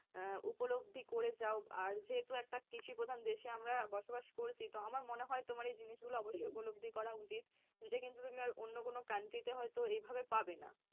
আহ উপলব্ধি করে যাও আর যেহেতু আমরা একটা কৃষিপ্রধান দেশে আমরা বসবাস করছি তো আমার মনে হয় তোমার এই জিনিসগুলো অবশ্যই উপলব্ধি করা উচিত। এটা কিন্তু তুমি আর অন্য কোনো country তে হয়তো এইভাবে পাবে না।